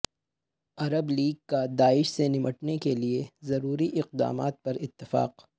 عرب league کا داعش سے نمٹنے کے لیے ضروری اقدامات پر اتفاق